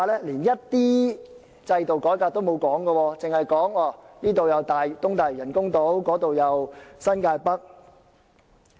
連一點制度改革也不提，只是提及東大嶼人工島、新界北發展等。